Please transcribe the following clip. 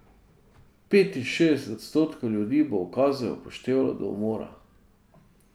Petinšestdeset odstotkov ljudi bo ukaze upoštevalo do umora.